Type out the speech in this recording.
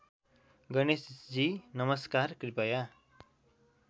गणेशजी नमस्कार कृपया